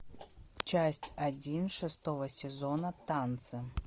часть один шестого сезона танцы